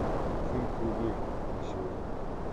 фунт к рублю на сегодня